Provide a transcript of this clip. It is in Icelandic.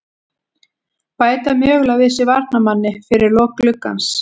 Bæta mögulega við sig varnarmanni fyrir lok gluggans.